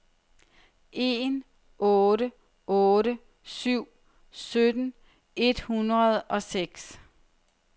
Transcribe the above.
en otte otte syv sytten et hundrede og seks